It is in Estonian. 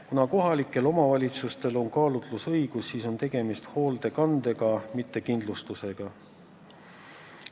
Kuna kohalikel omavalitsustel on kaalutlusõigus, siis on tegemist hoolekandega, mitte kindlustusega.